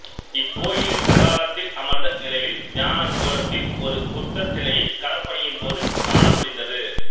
இக்கோயிலின் பிரகாரத்தில் அமர்ந்த நிலையில் தியான கோலத்தில் ஒரு புத்தர் சிலையைக் களப்பணியின்போது காணமுடிந்தது